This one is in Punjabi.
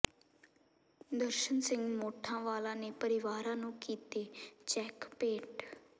ਦਰਸ਼ਨ ਸਿੰਘ ਮੋਠਾਂ ਵਾਲਾ ਨੇ ਪਰਿਵਾਰਾਂ ਨੂੰ ਕੀਤੇ ਚੈੱਕ ਭੇਟ